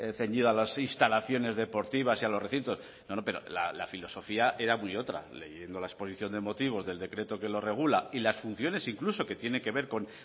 ceñido a las instalaciones deportivas y a los recintos no pero la filosofía era muy otra leyendo la exposición de motivos del decreto que lo regula y las funciones incluso que tiene que ver con